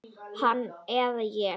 Hann eða ég.